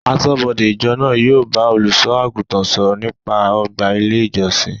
Aṣọ́bọdè ìjọ náà yóò bá olùsọ àgùntàn sọ̀rọ̀ nípa ọgbà ilé ìjọsìn